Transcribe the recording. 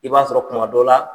I b'a sɔrɔ kuma dɔ la